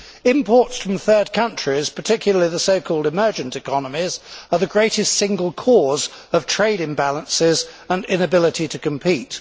Imports from third countries, particularly the so called emergent economies, are the greatest single cause of trade imbalances and the inability to compete.